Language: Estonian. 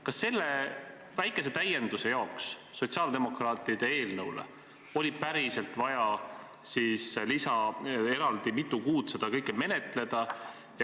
Kas selle väikese täienduse pärast sotsiaaldemokraatide eelnõuga võrreldes oli päriselt vaja eraldi mitu kuud seda kõike menetleda?